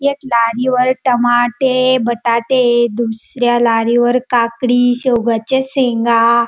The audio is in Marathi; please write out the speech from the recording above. एक लारीवर टमाटे बटाटे दुसऱ्या लारीवर काकडी सेवगाच्या शेंगा --